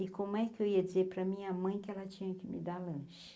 E como é que eu ia dizer para minha mãe que ela tinha que me dar lanche?